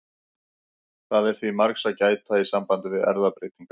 Það er því margs að gæta í sambandi við erfðabreytingar.